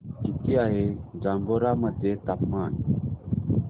किती आहे जांभोरा मध्ये तापमान